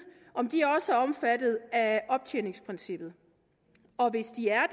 om de også er omfattet af optjeningsprincippet og hvis de er